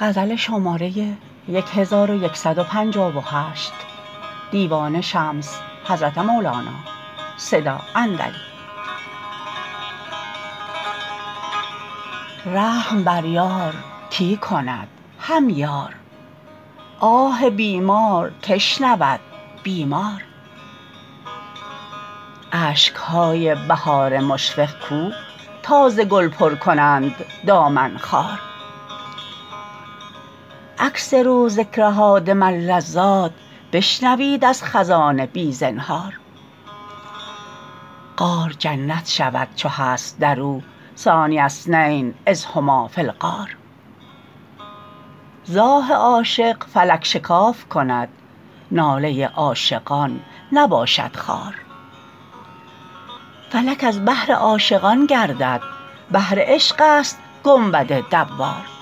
رحم بر یار کی کند هم یار آه بیمار کی شنود بیمار اشک های بهار مشفق کو تا ز گل پر کنند دامن خار اکثروا ذکر هادم اللذات بشنوید از خزان بی زنهار غار جنت شود چو هست در او ثانی اثنین اذ هما فی الغار ز آه عاشق فلک شکاف کند ناله عاشقان نباشد خوار فلک از بهر عاشقان گردد بهر عشقست گنبد دوار نی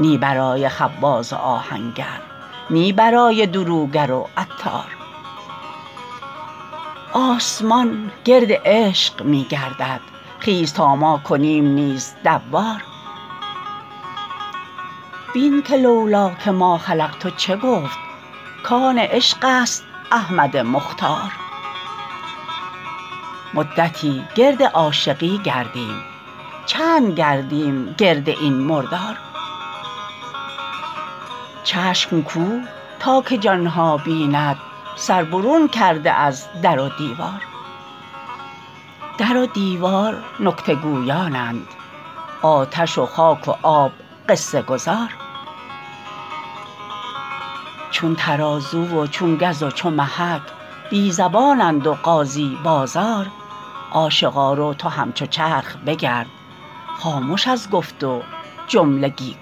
برای خباز و آهنگر نی برای دروگر و عطار آسمان گرد عشق می گردد خیز تا ما کنیم نیز دوار بین که لو لاک ما خلقت چه گفت کان عشق است احمد مختار مدتی گرد عاشقی گردیم چند گردیم گرد این مردار چشم کو تا که جان ها بیند سر برون کرده از در و دیوار در و دیوار نکته گویانند آتش و خاک و آب قصه گزار چون ترازو و چون گز و چو محک بی زبانند و قاضی بازار عاشقا رو تو همچو چرخ بگرد خامش از گفت و جملگی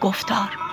گفتار